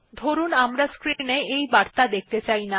ধরুন আমরা স্ক্রিন এ এই বার্তা দেখতে চাই না